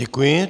Děkuji.